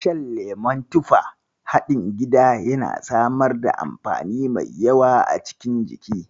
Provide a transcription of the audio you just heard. Shan lemon tufa haɗin gida yana samar da amfani mai yawa a cikin jiki.